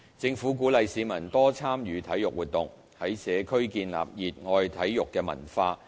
政府鼓勵市民多參與體育活動，在社區建立熱愛體育的文化。